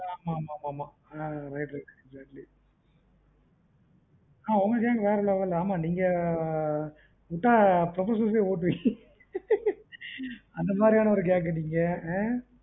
ஆஹ் ஆமா ஆமா ஆஹ் right right ஆஹ் உங்க gang வேற level விட்டா professers ஓடுவீங்கஅந்த மாரியான நீங்க